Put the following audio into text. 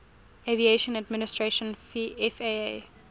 aviation administration faa